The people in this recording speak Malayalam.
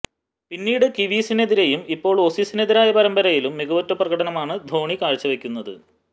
പിന്നീട് കിവീസിനെതിരെയും ഇപ്പോള് ഓസീസിനെതിരായ പരമ്പരയിലും മികവുറ്റ പ്രകടനമാണ് ധോണി കാഴ്ചവെക്കുന്നത്